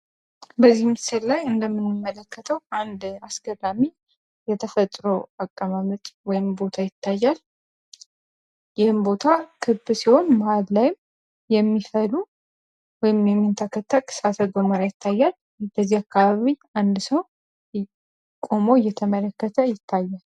በዚህ ምስል ላይ እንደምንመለከተው አንድ አስገራሚ የተፈጥሮ አቀማመጥ ያለው ቦታ ይታያል ይህም ቦታ ክብ ሲሆን መሀል ላይም የሚፈሉ ወይም የሚንተከተክ እሳተ ገሞራ ይታያል በዚህ አካባቢ አንድ ሰው ቁሞ እየተመለከተ ይታያል።